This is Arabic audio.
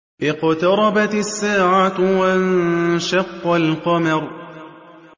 اقْتَرَبَتِ السَّاعَةُ وَانشَقَّ الْقَمَرُ